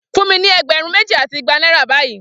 Fun mi ni egberun meji ati igba naira bayii!